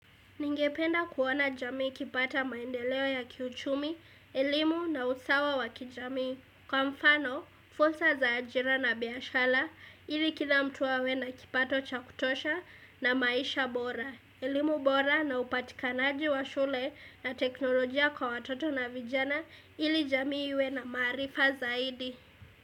Ningependa kuona jamii ikipata maendeleo ya kiuchumi, elimu na usawa wa kijamii. Kwa mfano, fursa za ajira na biashala, ili kila mtu awe na kipato cha kutosha na maisha bora. Elimu bora na upatikanaji wa shule na teknolojia kwa watoto na vijana, ili jamii iwe na maarifa zaidi.